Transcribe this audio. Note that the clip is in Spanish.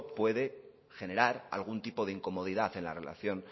puede generar algún tipo de incomodidad en la relación